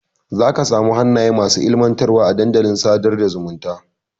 Zaka samu hannaye masu ilmantarwa a dandalin sadar da zumunta.